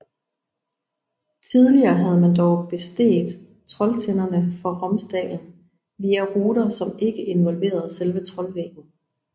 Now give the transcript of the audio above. Tidligere havde man dog besteget Trolltinderne fra Romsdalen via ruter som ikke involverede selve Trollveggen